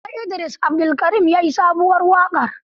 Da Hausa Idris Abdulkarim ya yi sabuwar waƙar.